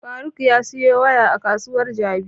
Faruk ya siyo waya a kasuwar jabi